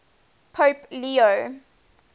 pope leo